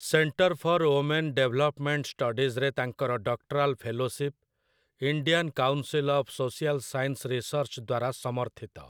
Centre for women development ଷ୍ଟଡିଜ୍‌ରେ ତାଙ୍କର doctoral fellowship, Indian council of social science research ଦ୍ୱାରା ସମର୍ଥିତ ।